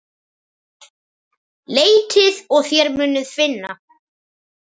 Leitið og þér munuð finna!